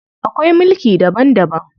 Akwai mulki daban daban.